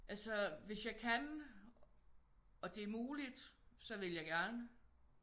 Altså hvis jeg kan og det er muligt så vil jeg gerne